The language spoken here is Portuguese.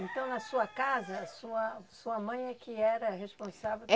Então, na sua casa, sua sua mãe é que era responsável? É